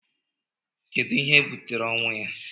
Kedu ihe butere ọnwụ ya?